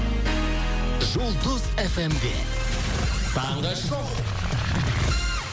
жұлдыз эф эм де таңғы шоу